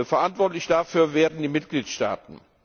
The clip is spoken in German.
Verantwortlich dafür werden die Mitgliedstaaten.